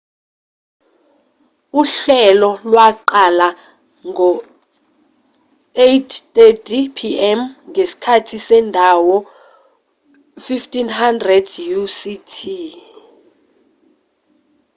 uhlelo lwaqala ngo-8:30 p.m. ngesikhathi sendawo 15.00 utc